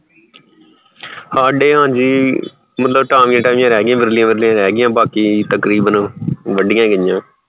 ਹਾਡੇ ਹਾਂਜੀ ਟਾਂਵੀਆਂ ਟਾਂਵੀਆਂ ਰਹਿ ਗਈਆਂ ਵਿਰਲਿਆਂ ਵਿਰਲਿਆਂ ਰਹਿ ਗਈਆਂ ਬਾਕੀ ਤਕਰੀਬਨ ਵਢੀਆ ਗਈਆਂ